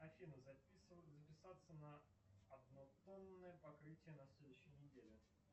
афина записаться на однотонное покрытие на следующей неделе